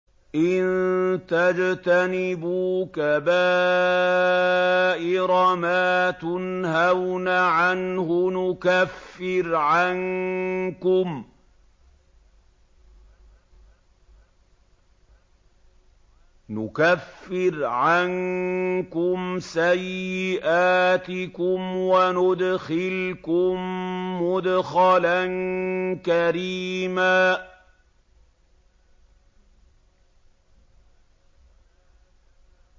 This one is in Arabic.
إِن تَجْتَنِبُوا كَبَائِرَ مَا تُنْهَوْنَ عَنْهُ نُكَفِّرْ عَنكُمْ سَيِّئَاتِكُمْ وَنُدْخِلْكُم مُّدْخَلًا كَرِيمًا